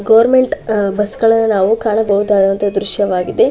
Government ಬಸ್ ಗಳನ್ನ ನಾವು ಕಾಣಬಹುದಾದಂತಹ ದ್ರಶ್ಯ ವಾಗಿದೆ.